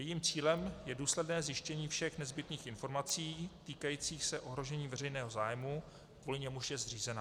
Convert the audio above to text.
Jejím cílem je důsledné zjištění všech nezbytných informací týkajících se ohrožení veřejného zájmu, kvůli němuž je zřízena.